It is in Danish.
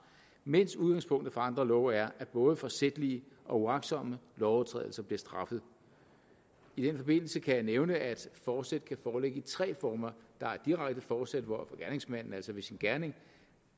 mens udgangspunktet for andre love er at både forsætlige og uagtsomme overtrædelser bliver straffet i den forbindelse kan jeg nævne at fortsæt kan foreligge i tre former der er direkte fortsæt hvor gerningsmanden altså med sin gerning